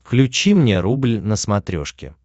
включи мне рубль на смотрешке